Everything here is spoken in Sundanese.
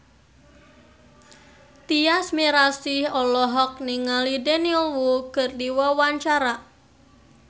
Tyas Mirasih olohok ningali Daniel Wu keur diwawancara